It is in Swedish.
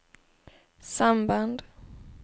samband